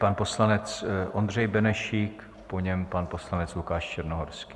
Pan poslanec Ondřej Benešík, po něm pan poslanec Lukáš Černohorský.